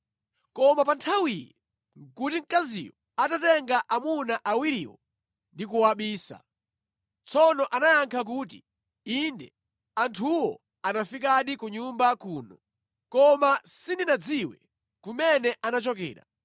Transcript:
Koma pa nthawiyi nʼkuti mkaziyo atatenga amuna awiriwo ndi kuwabisa. Tsono anayankha kuti, “Inde, anthuwo anafikadi ku nyumba kuno. Koma sindinadziwe kumene anachokera.